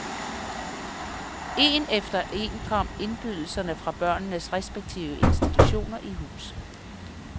Én efter en kom indbydelserne fra børnenes respektive institutioner i hus.